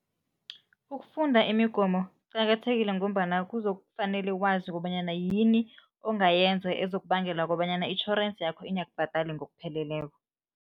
Ukufunda imigomo kuqakathekile ngombana kuzokufanele wazi kobanyana yini ongayenza ezokubangela kobanyana itjhorensi yakho ingakubhadali ngokupheleleko.